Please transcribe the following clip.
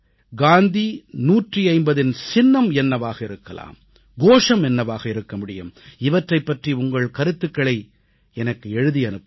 காந்தி 150இன் சின்னம் என்னவாக இருக்கலாம் கோஷம் என்னவாக இருக்க முடியும் இவற்றைப் பற்றி உங்கள் கருத்துக்களை எனக்கு எழுதி அனுப்புங்கள்